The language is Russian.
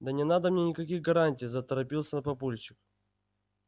да не надо мне никаких гарантий заторопился папульчик